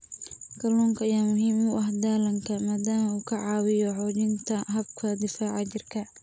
Kalluunka ayaa muhiim u ah dhallaanka maadaama uu ka caawiyo xoojinta habka difaaca jirka.